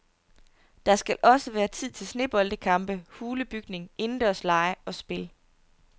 Der skal også være tid til sneboldkampe, hulebygning, indendørslege og spil.